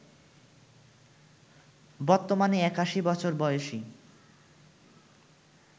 বর্তমানে ৮১ বছর বয়সী